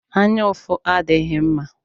Anyaụfụ adighi mma